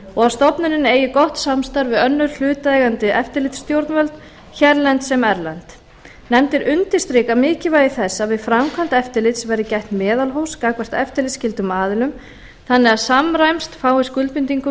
og að stofnunin eigi gott samstarf við önnur hlutaðeigandi eftirlitsstjórnvöld hérlend sem erlend nefndin undirstrikar mikilvægi þess að við framkvæmd eftirlits verði gætt meðalhófs gagnvart eftirlitsskyldum aðilum þannig að samræmst fái skuldbindingum